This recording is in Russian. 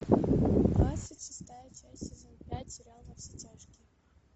двадцать шестая часть сезон пять сериал во все тяжкие